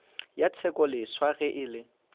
ya tshekoleswa ge e le